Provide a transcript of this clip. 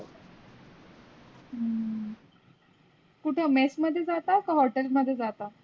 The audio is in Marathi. हम्म कुठ मेस मधे जाता कि hotel मधे जाता?